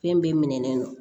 Fɛn bɛɛ minɛlen don